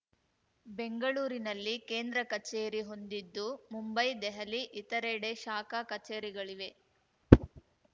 ಬೆಂಗಳೂರಿನಲ್ಲಿ ಕೇಂದ್ರ ಕಚೇರಿ ಹೊಂದಿದ್ದು ಮುಂಬೈ ದೆಹಲಿ ಇತರೆಡೆ ಶಾಖಾ ಕಚೇರಿಗಳಿವೆ